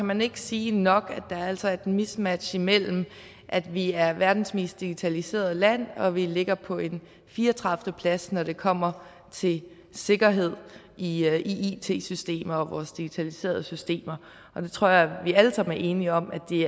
man ikke sige nok at der altså er et mismatch imellem at vi er verdens mest digitaliserede land og at vi ligger på en fire og tredive plads når det kommer til sikkerhed i it systemer og i vores digitaliserede systemer jeg tror at vi alle sammen er enige om at det